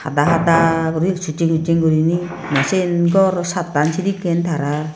dahada guri succheng succheng gurine ne sian chattan sedekken tarar.